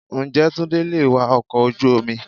Ǹjẹ́ Túndé lè wa ọkọ̀ ojú omi?